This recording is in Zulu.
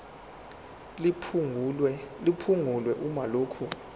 liphungulwe uma lokhu